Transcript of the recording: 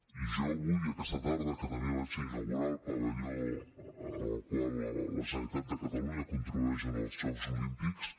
i jo vull aquesta tarda que també inauguraré el pavelló amb el qual la generalitat de catalunya contribueix als jocs olímpics